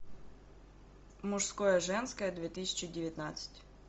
мужское женское две тысячи девятнадцать